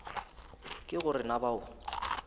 ke go re na bao